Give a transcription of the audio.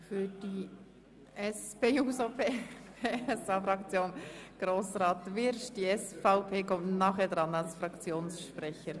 Für die SP-JUSO-PSA-Fraktion hat Grossrat Wyrsch das Wort.